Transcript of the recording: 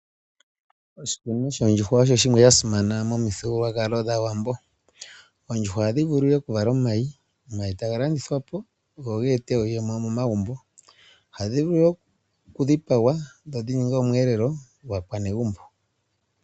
Oshikunino shoondjuhwa osho shimwe sha simana momithigululwakalo dhaawambo. Oondjuhwa oha dhi vulu ihe okuvala omayi, omayi taga landithwa po, go ge ete iiyemo momagumbo. Ohadhi vulu woo okudhipagwa dho dhi ninge omweelelo gwaakwanegumbo.